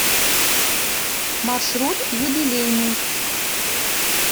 маршрут юбилейный